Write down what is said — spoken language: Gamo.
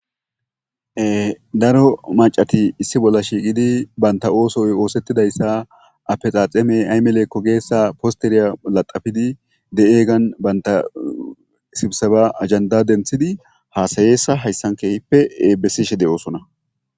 Daro macati issi bola shiiqidi banta oosoy oosetizaysa atekakeme aymale gizaysa posteriyan latafidi de'iyagan banta sibseba ajenda denthidi haasayiyasa haysan keehipe besishe de'osona.